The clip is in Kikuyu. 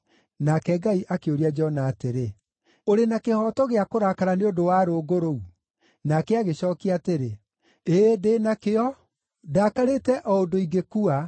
Nake Ngai akĩũria Jona atĩrĩ, “Ũrĩ na kĩhooto gĩa kũrakara nĩ ũndũ wa rũũngũ rũu?” Nake agĩcookia atĩrĩ, “Ĩĩ, ndĩ nakĩo; ndakarĩte o ũndũ ingĩkua.”